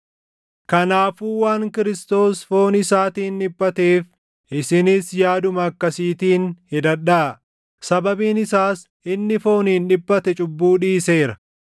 Kanaafuu waan Kiristoos foon isaatiin dhiphateef isinis yaaduma akkasiitiin hidhadhaa; sababiin isaas inni fooniin dhiphate cubbuu dhiiseera.